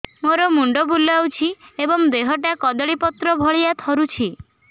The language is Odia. ମୋର ମୁଣ୍ଡ ବୁଲାଉଛି ଏବଂ ଦେହଟା କଦଳୀପତ୍ର ଭଳିଆ ଥରୁଛି